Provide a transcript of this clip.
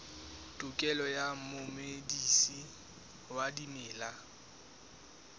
tokelo ya momedisi wa dimela